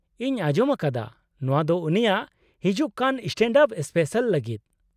-ᱤᱧ ᱟᱸᱡᱚᱢ ᱟᱠᱟᱫᱟ ᱱᱚᱶᱟ ᱫᱚ ᱩᱱᱤᱭᱟᱜ ᱦᱤᱡᱩᱜ ᱠᱟᱱ ᱥᱴᱮᱸᱰᱼᱟᱯ ᱥᱯᱮᱥᱟᱞ ᱞᱟᱜᱤᱫ ᱾